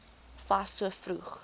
fas so vroeg